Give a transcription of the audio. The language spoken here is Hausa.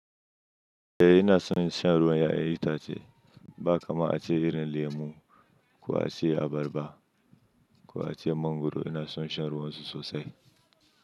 Eh ina son shan ruwan 'ya'yan itace, ba kamar ace irin lemu ko ace abarba ko ace mangwaro. Ina son shan ruwan su sosai.